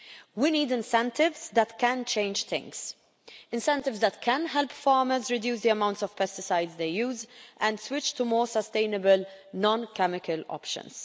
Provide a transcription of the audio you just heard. We need incentives that can change things, incentives that can help farmers reduce the amount of pesticides they use and switch to more sustainable non chemical options.